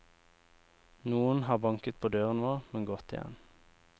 Noen har banket på døren vår, men gått igjen.